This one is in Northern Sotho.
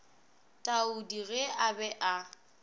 taudi ge a be a